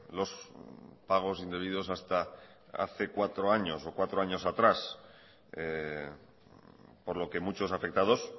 los pagos indebidos hasta hace cuatro años o cuatro años atrás por lo que muchos afectados